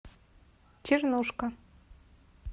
чернушка